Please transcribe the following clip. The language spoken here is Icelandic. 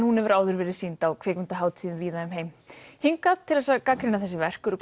hún hefur áður verið sýnd á kvikmyndahátíðum víða um heim hingað til að gagnrýna þessi verk eru